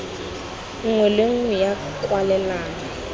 nngwe le nngwe ya kwalelano